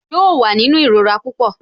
Yóò wà nínú ìrora pupọ